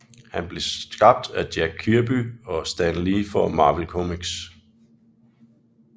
Han blev skabt af Jack Kirby og Stan Lee for Marvel Comics